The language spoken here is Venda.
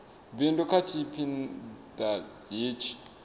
bindu kha tshipi ḓa hetshi